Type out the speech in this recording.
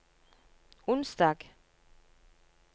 onsdag